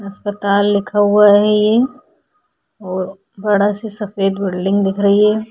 अस्पताल लिखा हुआ है ये और बड़ा सा सफ़ेद बिल्डिंग दिख रही है।